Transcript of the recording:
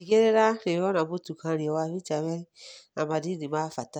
Tigĩrĩra nĩũrona mũtukanio wa bitamini na madini ma bata.